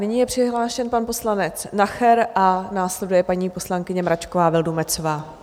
Nyní je přihlášen pan poslanec Nacher a následuje paní poslankyně Mračková Vildumetzová.